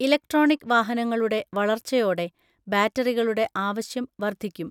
Electronic വാഹനങ്ങളുടെ വളർച്ചയോടെ ബാറ്ററികളുടെ ആവശ്യം വർധിക്കും.